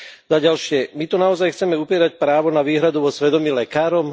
Za ďalšie, my tu naozaj chceme upierať právo na výhradu vo svedomí lekárom?